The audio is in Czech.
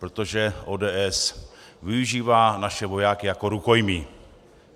Protože ODS využívá naše vojáky jako rukojmí.